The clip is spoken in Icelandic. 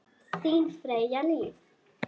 Þín Freyja Líf.